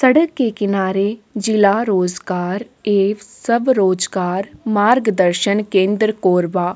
सड़क के किनारे जिला रोजगार एक सब रोजगार मार्गदर्शन केंद्र कोरबा--